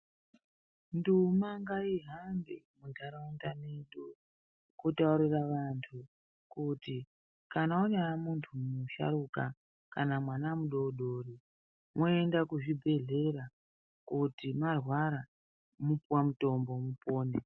Nduma ngaihambe muntaraunda mwedu kutaurira antu kuti kana wanyamuntu musharukwa kana mwana mudodori mwoenda kuzvibhehlera kuti mwarwara mopuwa mutombo mupone.